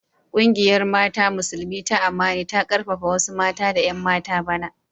Kungiyar mata Musulmi ta Amani ta karfafa wasu mata da 'yan mata bana.